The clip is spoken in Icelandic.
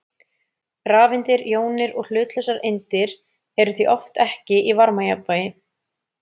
Rafeindir, jónir og hlutlausar eindir eru því oft ekki í varmajafnvægi.